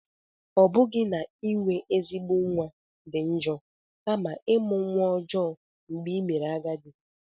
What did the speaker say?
Ọ bụghị na inwe ezigbo nwa dị njọ, kama ịmụ nwa ọjọọ mgbe i mere agadi.